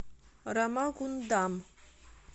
рамагундам